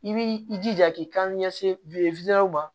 I b'i jija k'i kanse